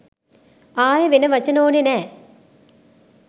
ආයෙ වෙන වචන ඕනෙ නෑ